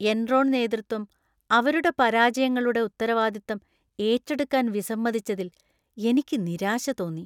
Enron നേതൃത്വം അവരുടെ പരാജയങ്ങളുടെ ഉത്തരവാദിത്തം ഏറ്റെടുക്കാൻ വിസമ്മതിച്ചതിൽ എനിക്ക് നിരാശ തോന്നി .